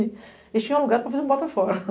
Eles tinham alugado para fazer um Bota fora.